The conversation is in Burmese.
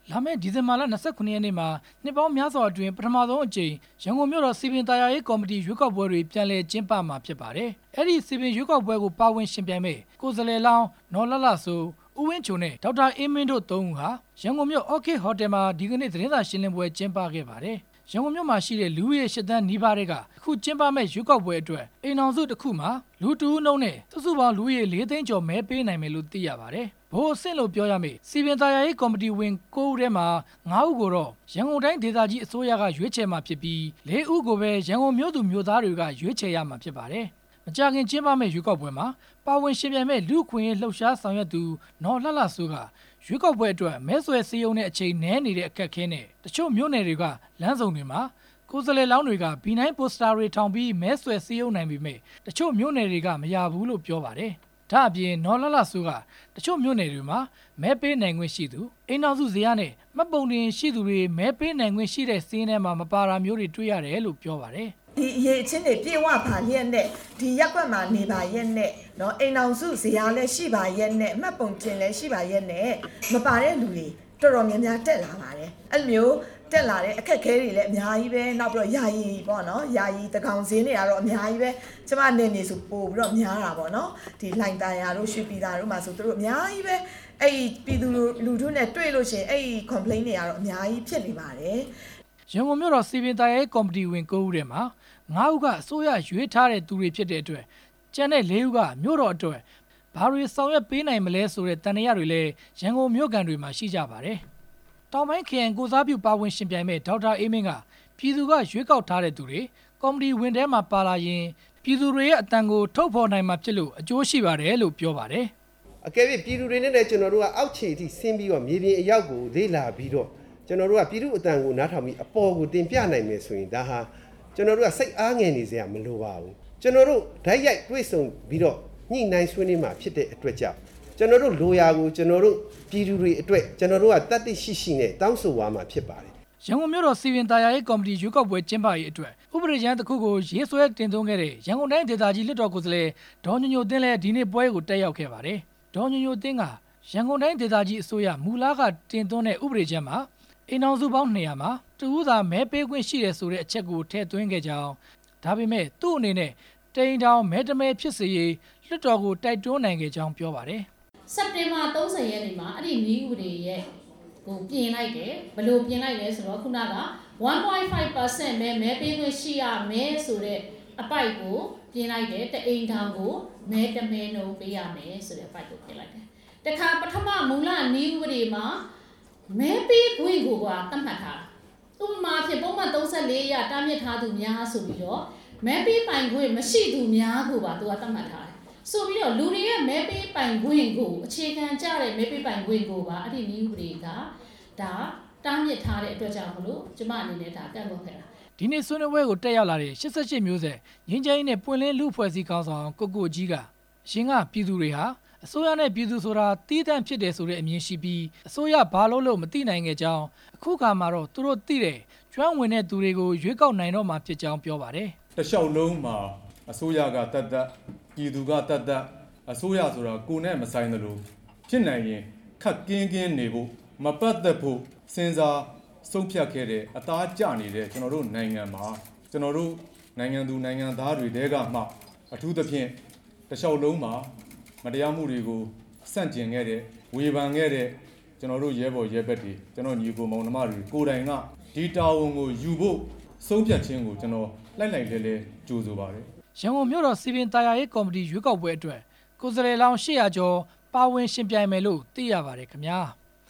လာမယ့် ဒီဇင်ဘာလ ၂၇ ရက်နေ့မှာ နှစ်ပေါင်းများစွာအတွင်း ပထမဦးဆုံးအကြိမ် ရန်ကုန်မြို့တော် စည်ပင်သာယာရေးကော်မတီ ရွေးကောက်ပွဲတွေကို ပြန်လည်ကျင်းပမှာဖြစ်ပါတယ်။ အဲ့ဒီစည်ပင်ရွေးကောက်ပွဲကို ပါဝင်ယှဉ်ပြိုင်မယ့် ကိုယ်စားလှယ်လောင်း နော်လှလှစိုး၊ ဦးဝင်းချိုနဲ့ ဒေါက်တာအေးမင်းတို့ ၃ ဦးဟာ ရန်ကုန်မြို့ orchid hotel မှာ ဒီနေ့ သတင်းစာရှင်းလင်းပွဲ ကျင်းပခဲ့ပါတယ်။ ရန်ကုန်မြို့မှာရှိတဲ့ လူဦးရေ ၈ သန်းနီးပါးထဲက အခုကျင်းပမယ့် ရွေးကောက်ပွဲအတွက် အိမ်ထောင်စုတစ်ခုမှာ လူတစ်ဦးနှုန်းနဲ့စုစုပေါင်း လူဦးရေ ၄ သိန်း မဲပေးနိုင်မယ်လို့သိရပါတယ်။ ဗဟိုအဆင့်လို့ပြောရမယ့် စည်ပင်သာယာရေးကော်မတီဝင် ၉ ဦးထဲမှာ ၅ ဦးကိုတော့ ရန်ကုန်တိုင်းဒေသကြီးအစိုးရက ရွေးချယ်မှာဖြစ်ပြီး ၄ ဦးကိုပဲ ရန်ကုန်မြို့သူမြို့သားတွေက ရွေးချယ်ရမှာဖြစ်ပါတယ်။ မကြာခင် ကျင်းပမယ့် ရွေးကောက်ပွဲမှာ ပါဝင်ယှဉ်ပြိုင်မယ့် လူ့အခွင့်အရေး လှုပ်ရှားဆောင်ရွက်သူ နော်လှလှစိုးက ရွေးကောက်ပွဲအတွက် မဲဆွယ်စည်းရုံးတဲ့အချိန် နည်းတဲ့အခက်အခဲနဲ့ တချို့မြို့နယ်တွေက လမ်းဆုံတွေမှာ ကိုယ်စားလှယ်လောင်းတွေက ဗီနိုင်းပိုစတာတွေထောင်ပြီး မဲဆွယ်နိုင်ပေမယ့် တချို့မြို့နယ်က မရဘူးလို့ပြောပါတယ်။ ဒါ့အပြင် နော်လှလှစိုးက တချို့မြို့နယ်တွေမှာ မဲပေးနိုင်ခွင့်ရှိသူ ၊ အိမ်ထောင်စုဇယားနဲ့ မှတ်ပုံတင်ခွင့်ရှိသူတွေ မဲပေးနိုင်ခွင့်ရှိတဲ့ စာရင်းထဲမပါတာမျိုးတွေ တွေ့ရတယ်လို့ပြောပါတယ်။ ဒီအရည်အချင်းတွေ ပြည့်ဝပါလျှက်နဲ့၊ ဒီရပ်ကွက်မှာနေပါလျှက်နဲ့၊ အိမ်ထောင်စုဇယားလည်းရှိပါလျှက်နဲ့၊ မှတ်ပုံတင်လည်းရှိပါလျှက်နဲ့ မပါတဲ့လူတွေ တော်တော်များများတက်လာပါတယ်၊ အဲ့လိုမျိုး တက်လာတဲ့အခက်အခဲအများကြီး နောက်ပြီးတော့ ယာယီပေါ့နော် ယာယီသန်းခေါင်စာရင်းတွေလည်း အများကြီးပဲ၊ ကျမနယ်မြေဆိုရင် ပိုပြီးတော့ များတာပေါ့နော်၊ ဒီလှိုင်သာယာတို့ ရွှေပြည်သာတို့မှာဆို အများကြီးပဲ၊ ပြည်သူလူထုနဲ့ တွေ့လို့ရှိရင် အဲ့ဒီပြောဆိုမှုတွေတော့ အများကြီးတွေ့နေရတယ်။ ရန်ကုန်မြို့တော် စည်ပင်သာယာရေးကော်မတီဝင် ၉ ဦးထဲမှာ ၅ ဦးက မြို့တော်ဝင်တစ်ဦးနဲ့ အစိုးရက ရွေးထားတဲ့သူတွေဖြစ်တဲ့အတွက် ကျန်တဲ့သူ ၄ ဦးက မြို့တော်အတွက် ဘာတွေ ဆောင်ရွက်ပေးနိုင်မှာလဲ ဆိုတဲ့သံသယတွေလည်း ရန်ကုန်မြို့ခံတွေမှာရှိကြပါတယ်။ တောင်ပိုင်းခရိုင် ကိုယ်စားပြုပါဝင်ယှဉ်မယ့် ဒေါက်တာအေးမင်းက ပြည်သူကရွေးကောက်ထားတဲ့သူတွေ ကော်မတီဝင်တွေထဲမှာပါလာရင် ပြည်သူတွေရဲ့အသံကို ထုတ်ဖော်နိုင်မှာဖြစ်လို့ အကျိုးရှိပါတယ်လို့ပြောပါတယ်။. တကယ်လို့ ပြည်သူတွေနဲ့လည်း ကျနော်တို့က အောက်ခြေအထိ ဆင်းပြီးတော့ မြေပြင်အရောက်ကို လေ့လာပြီးတော့ ကျနော်တို့က ပြည်သူ့အသံကိုနားထောင်ပြီး အပေါ်ကိုတင်ပြနိုင်တယ်ဆိုရင် ဒါဟာ ကျနော်တို့က စိတ်အားငယ်စရာမလိုပါဘူး၊ ကျနော်တို့ တိုက်ရိုက်တွေ့ဆုံပြီးတော့ ညှိနှိုင်းဆွေးနွေးမှာ ဖြစ်တဲ့အတွက်ကြောင့် ကျနော်တို့လိုရာကို ကျနော်တို့ပြည်သူတွေအတွက် ကျနော်တို့က သတ္တိရှိရှိနဲ့ တောင်းဆိုသွားမှာ ဖြစ်ပါတယ်။ ရန်ကုန်မြို့တော် စည်ပင်သာယာရေးကော်မတီ ရွေးကောက်ပွဲကျင်းပရေးအတွက် ဥပဒေကြမ်းတစ်ခုကို တင်သွင်းခဲ့တဲ့ ရန်ကုန်တိုင်းဒေသကြီး လွှတ်တော်ကိုယ်စားလှယ် ဒေါ်ညိုညိုသင်းလည်း ဒီနေ့ပွဲ ကိုတက်ရောက်ခဲ့ပါတယ်။ ဒေါ်ညိုညိုသင်းက ရန်ကုန်တိုင်းဒေသကြီးအစိုးရ မူလကတင်သွင်းတဲ့ ဥပဒေကြမ်းမှာ အိမ်ထောင်စုပေါင်း ၂ဝဝ မှာ တစ်ဦးသာ မဲပေးခွင့်ရှိတဲ့အချက်ကို ထည့်သွင်းခဲ့ကြောင်း၊ ဒါပေမယ့် သူ့အနေနဲ့ တစ်အိမ်ထောင်မဲ တစ်မဲဖြစ်စေရေး လွှတ်တော်ကို တိုက်တွန်းနိုင်ခဲ့ကြောင်း ပြောပါတယ်။ စက်တင်ဘာ ၃ဝ ရက်နေ့မှာ အဲ့ဒီနည်းဥပဒေကြမ်းကို ပြင်လိုက်တယ်၊ ဘယ်လိုပြင်လိုက်လဲဆိုတော့ ခုနက ၁.၅ ရာခိုင်နှုန်းပဲ မဲပေးခွင့်ရှိရမယ်ဆိုတဲ့အပိုဒ်ကို ပြင်လိုက်တယ်၊ တစ်အိမ်ထောင်ကို မဲတစ်မဲနှုန်းပေးရမယ်ဆိုတဲ့ အပိုဒ်ကိုပြင်လိုက်တယ်၊ တစ်ခါပထမ မူလနည်းဥပဒေမှာ မဲပေးခွင့်ကိုပါ သက်မှတ်ထားတာ၊ ဥပမာအားဖြင့် ပုဒ်မ ၃၄ အရ တားမြစ်ထားသူများဆိုပြီးတော့ မဲပေးပိုင်ခွင့်မရှိသူများကိုပါ သူကသက်မှတ်ထားတယ် ဆိုပြီးတော့လူတွေရဲ့ မဲပေးပိုင်ခွင့်ကို အခြေခံကျတဲ့ မဲပေးပိုင်ခွင့်ကိုပါ ဒီဥပဒေက တားမြစ်ထားတဲ့အတွက်ကြောင့်မို့လို့ ကျမအနေနဲ့ ဒါကန့်ကွက်ခဲ့ပါတယ်။ ဒီနေ့ဆွေးနွေးပွဲကို တက်ရောက်လာတဲ့ ၈၈ မျိုးဆက်ငြိမ်းချမ်းရေးနဲ့ ပွင့်လင်းလူ့အဖွဲ့အစည်းခေါင်းဆောင် ကိုကိုကြီးက အရင်က ပြည်သူတွေဟာ၊ အစိုးရနဲ့ ပြည်သူဆိုတာသီးသန့်ဖြစ်တယ် ဆိုတဲ့အမြင်ရှိပြီး အစိုးရဘာလုပ်လုပ် မသိနိုင်ခဲ့ကြောင်း၊ ခုအခါမှာတော့ သူတို့သိတဲ့ ကျွမ်းဝင်တဲ့သူုတွေကို ရွေးကောက်နိုင်တော့မှာဖြစ်ကြောင်း ပြောပါတယ်။ တလျှောက်လုံးမှာ အစိုးရကသက်သက်၊ ပြည်သူကသက်သက် အစိုးရဆိုတာ ကိုယ်နဲ့မဆိုင်သလို ဖြစ်နိုင်ရင်ခပ်ကင်းကင်းနေဖို့ မပတ်သက်ဖို့ စဉ်းစားဆုံးဖြတ်ခဲ့တဲ့ နေသားကျနေတဲ့ ကျနော်တို့နိုင်ငံမှာ ကျနော်တို့ နိုင်ငံသူနိုင်ငံသားတွေထဲကမှာ အထူးသဖြင့် တလျှောက်လုံးမှာ မတရားမှုတွေကို ဆန့်ကျင်ခဲ့တယ်၊ ဝေဖန်ခဲ့တယ် ကျနော်တို့ ရဲဖော်ရဲဘက်တွေ ကျနော်တို့ ညီအကိုမောင်နှမတွေ ကိုယ်တိုင်က ဒီတာဝန်ကိုယူဖို့ဆုံးဖြတ်ခြင်းကို ကျနော်လှိုက်လှိုက်လှဲလှဲ ကြိုဆိုပါတယ်။ ရန်ကုန်မြို့တော်စည်ပင်သာယာရေး ကော်မတီရွေးကောက်ပွဲအတွက် ကိုယ်စားလှယ်လောင်း ၈ဝဝ ကျော်ပါဝင်ယှဉ်ပြိုင်မယ်လို့ သိရပါတယ်ခင်ဗျာ။